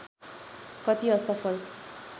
कति असफल